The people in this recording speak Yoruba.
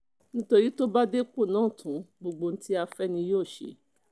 nítorí tó bá dépò náà tán gbogbo ohun tí a fẹ́ ni yóò ṣe